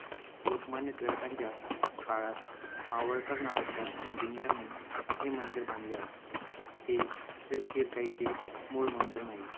लोकमान्य टिळकांच्या काळात मावळकर नावाच्या engineer ने हे मंदिर बांधले आहे. हे श्री शिरकाईचे मूळ मंदिर नाही.